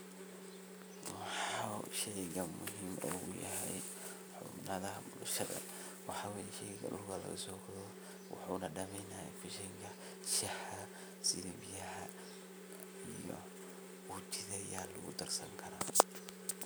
Muxu sheeygan muhim ugu yahay bulshada waxaway sheeygan waxayna dameynaya feshah setha biyaha uji Aya lagu darsankara.